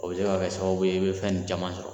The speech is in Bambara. O bi se ka kɛ sababu i bɛ fɛn nin cama sɔrɔ.